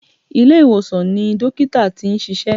Ilé-ìwòsàn ni dọ́kítà tí n ṣiṣẹ́.